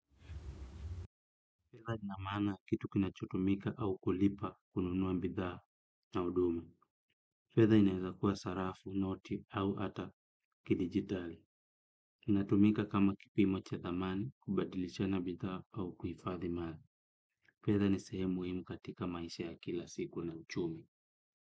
Fedha inamaana kitu kinachotumika au kulipa kununua mbidhaa na uduma. Fedha inaiza kuwa sarafu, noti au ata kidigitali. Inatumika kama kipi mocha dhamani, kubadilisha na mbidhaa au kufadhimadha. Fedha ni sehemu muimu katika maisha ya kila siku na uchumi.